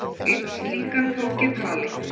Einn slíkan tók ég tali.